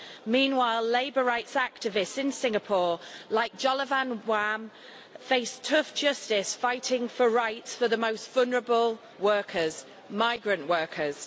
Meanwhile, labour rights activists in Singapore, like Jolovan Wham, face tough justice fighting for rights for the most vulnerable workers, migrant workers.